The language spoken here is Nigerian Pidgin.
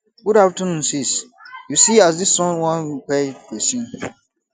good afternoon sis you see as dis sun wan kpai pesin